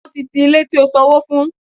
Wọ́n ti ti Ilé tí ó sanwó fún.